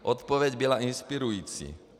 Odpověď byla inspirující.